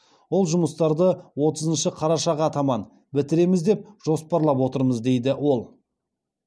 ол жұмыстарды отызыншы қарашаға таман бітіреміз деп жоспарлап отырмыз дейді ол